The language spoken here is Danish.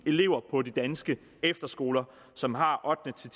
elever på de danske efterskoler som har ottende ti